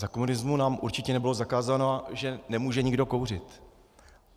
Za komunismu nám určitě nebylo zakazováno, že nemůže nikdo kouřit.